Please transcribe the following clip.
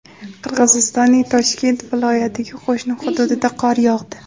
Qirg‘izistonning Toshkent viloyatiga qo‘shni hududida qor yog‘di.